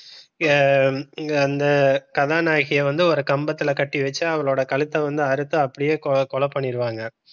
இந்த வந்து கதாநாயகியா வந்து ஒரு கம்பத்துல கட்டி வச்சு அவளோட கழுத்த வந்து அறுத்து அப்படியே கொலை பண்ணிடுவாங்க.